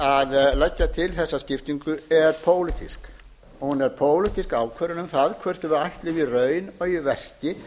að leggja fram þessa skiptingu er pólitísk hún er pólitísk ákvörðun um það hvort við ætlum í raun og í verki